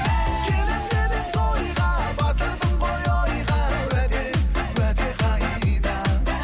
келемін деп едің тойға батырдың ғой ойға уәде уәде қайда